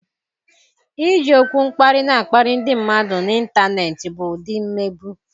Iji okwu mkparị na-akparị ndị mmadụ n'ịntanetị bụ ụdị mmegbu.